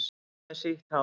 Enn með sítt hár.